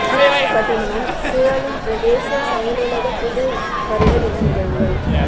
திருமலை பட்டினமும் சூழலும் பிரதேச செயலக புது வருட தின நிகழ்வுகள்